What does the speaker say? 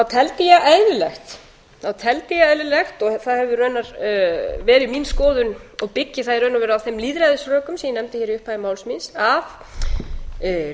teldi ég eðlilegt og það hefur raunar verið mín skoðun og byggi ég það í raun og veru á þeim lýðræðisrökum sem ég nefndi hér í upphafi máls míns að